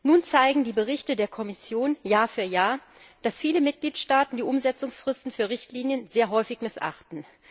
Nun zeigen die Berichte der Kommission Jahr für Jahr, dass viele Mitgliedstaaten die Umsetzungsfristen für Richtlinien sehr häufig missachten.